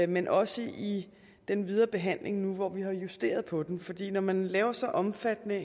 men også i den videre behandling nu hvor vi har justeret på den fordi når man laver så omfattende